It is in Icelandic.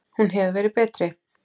Hún hefur verið betri.